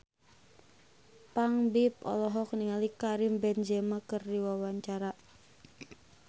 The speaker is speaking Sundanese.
Ipank BIP olohok ningali Karim Benzema keur diwawancara